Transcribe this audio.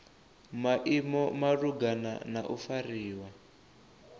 maimo malugana na u fariwa